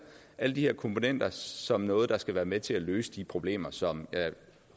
alle de her komponenter som noget der skal være med til at løse de problemer som jeg